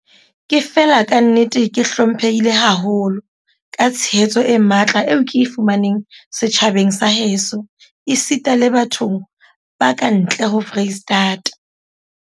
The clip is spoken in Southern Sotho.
"Ke fela kannete ke hlomphehile haholo ke tshehetso e matla eo ke e fumaneng setjhabeng sa heso esita le bathong ba ka ntle ho Freistata."